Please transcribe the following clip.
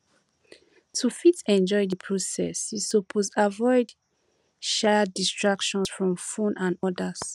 to fit enjoy di process you suppose avoid um distractions from phone and others